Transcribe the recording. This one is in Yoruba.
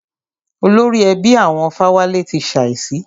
Olórí ẹbí àwọn Fáwálé ti ṣàísí.